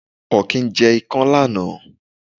Ọ̀kín jẹ ikán lánàá.